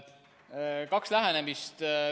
On kaks lähenemist.